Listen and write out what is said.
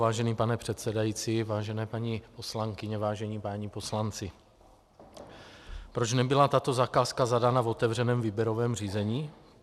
Vážený pane předsedající, vážené paní poslankyně, vážení páni poslanci, proč nebyla tato zakázka zadána v otevřeném výběrovém řízení?